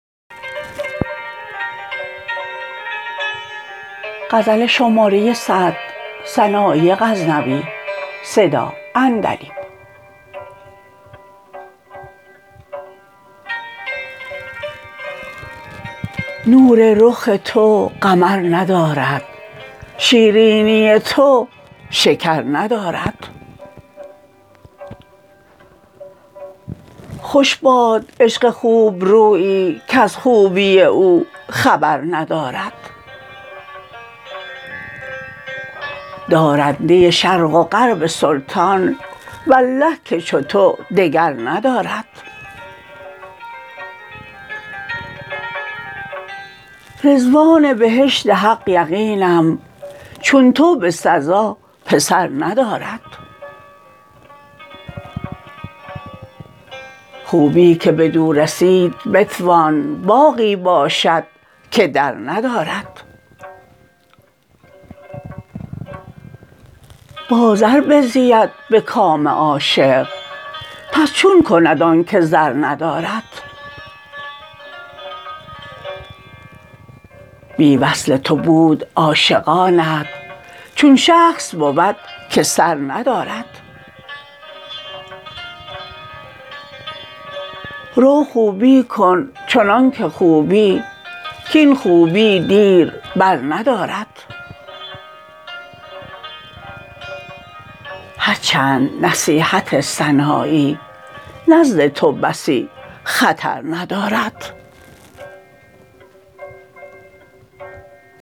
نور رخ تو قمر ندارد شیرینی تو شکر ندارد خوش باد عشق خوب رویی کز خوبی او خبر ندارد دارنده شرق و غرب سلطان والله که چو تو دگر ندارد رضوان بهشت حق یقینم چون تو به سزا پسر ندارد خوبی که بدو رسید بتوان باغی باشد که در ندارد با زر بزید به کام عاشق پس چون کند آن که زر ندارد بی وصل تو بود عاشقانت چون شخص بود که سر ندارد رو خوبی کن چنان که خوبی کاین خوبی دیر بر ندارد هر چند نصیحت سنایی نزد تو بسی خطر ندارد